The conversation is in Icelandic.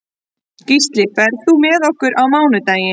Gísli, ferð þú með okkur á mánudaginn?